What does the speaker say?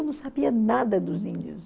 Eu não sabia nada dos índios.